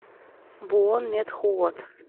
буонметхуот